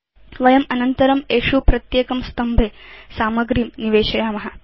वयम् अनन्तरं एषु प्रत्येकं स्तम्भे सामग्रीं निवेशयाम